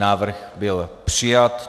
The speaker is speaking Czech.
Návrh byl přijat.